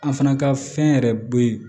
A fana ka fɛn yɛrɛ bɛ ye